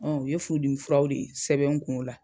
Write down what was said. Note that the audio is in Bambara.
Ɔ u ye furudimi furaw de sɛbɛn n kun o la.